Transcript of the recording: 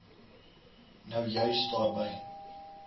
nou juis daarby